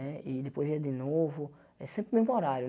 Né e depois ia de novo, é sempre o mesmo horário.